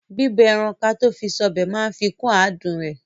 Bíbọ ẹran kató fi sọ́bẹ̀ máa ń fikún àádùn ọbẹ̀.